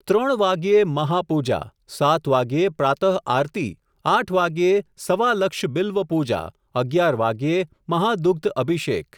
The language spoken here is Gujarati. ત્રણ વાગ્યે મહાપૂજા, સાત વાગ્યે પ્રાતઃ આરતી, આઠ વાગ્યે સવાલક્ષ બિલ્વ પૂજા, અગિયાર વાગ્યે મહાદુગ્ધ અભિષેક.